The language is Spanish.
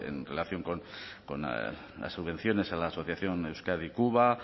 en relación con las subvenciones a la asociación euskadi cuba